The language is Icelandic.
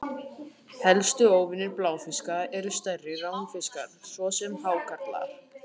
Helstu óvinir bláfiska eru stærri ránfiskar, svo sem hákarlar.